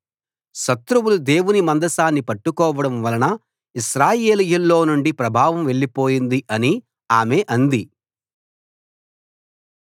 శత్రువులు దేవుని మందసాన్ని పట్టుకోవడం వలన ఇశ్రాయేలీయుల్లో నుండి ప్రభావం వెళ్ళిపోయింది అని ఆమె అంది